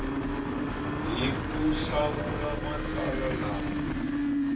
hi ku hlawula matsalwa lama